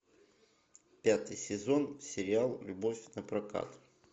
пятый сезон сериал любовь на прокат